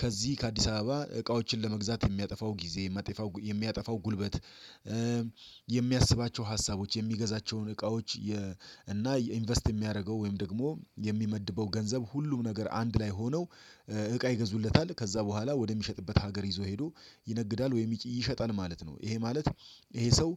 ከዚህ ከአዲስ አበባ እቃዎችን ለመግዛት የሚያጠፋው ጊዜ የሚያጠፋው ጉልበት የሚያስባቸው ሀሳቦች የሚገዛቸውን እቃዎች እና ኢንቨስት የሚያደርገው ወይም ደግሞ የሚመድበው ገንዘብ ሁሉም ነገር አንድ ላይ ሆነው እቃ ይገዙለታል ከዛ በኋላ ወደሚሸጥበት ሀገር ይዞ ሄዶ ይነግዳል ወይም ይሸጣል ማለት ነው ይሄ ማለት ይሄ ሰው